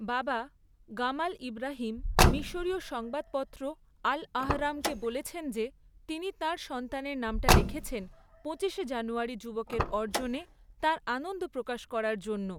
বাবা, Gamal Ibrahim, মিশরীয় সংবাদপত্র আল আহরামকে বলেছেন যে তিনি তাঁর সন্তানের নামটা রেখেছেন পঁচিশে জানুয়ারি যুবকের অর্জনে তাঁর আনন্দ প্রকাশ করার জন্য।